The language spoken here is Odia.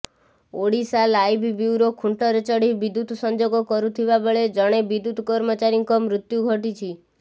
ଓଡ଼ିଶାଲାଇଭ୍ ବ୍ୟୁରୋ ଖୁଣ୍ଟରେ ଚଢ଼ି ବିଦ୍ୟୁତ୍ ସଂଯୋଗ କରୁଥିବା ବେଳେ ଜଣେ ବିଦ୍ୟୁତ୍ କର୍ମଚାରୀଙ୍କ ମୃତ୍ୟୁ ଘଟିଛି